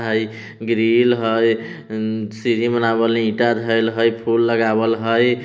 हई ग्रील हई सीढ़ी बनावल-- ईटा धरल हई फूल लगवाइल हई।